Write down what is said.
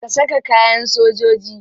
Ka saka kayan sojoji.